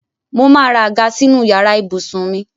Mo máa ra àga sínú yàrá ibùsùn mi